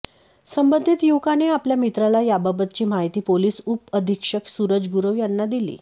संबंधित युवकाने आपल्या मित्राला याबाबतची माहिती पोलीस उपअधिक्षक सुरज गुरव यांना दिली